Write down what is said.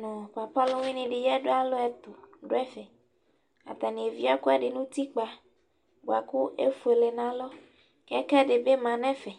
nʋ papa ɔlʋwɩnɩ dɩ, alɛ atalʋ ɛtʋ dʋ ɛfɛ Atanɩ evie ɛkʋɛdɩ nʋ utikpǝ bʋakʋ efuele nʋ alɔ Kɛkɛ dɩ bɩma nʋ ɛfɛ